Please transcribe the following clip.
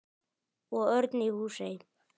Og Örn í Húsey.